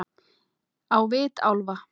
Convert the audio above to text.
Á vit álfa